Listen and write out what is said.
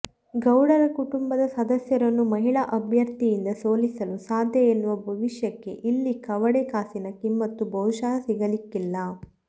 ಗೌಡರ ಕುಟುಂಬದ ಸದಸ್ಯರನ್ನು ಮಹಿಳಾ ಅಭ್ಯರ್ಥಿಯಿಂದ ಸೋಲಿಸಲು ಸಾಧ್ಯ ಎನ್ನುವ ಭವಿಷ್ಯಕ್ಕೆ ಇಲ್ಲಿ ಕವಡೆ ಕಾಸಿನ ಕಿಮ್ಮತ್ತು ಬಹುಶಃ ಸಿಗಲಿಕ್ಕಿಲ್ಲ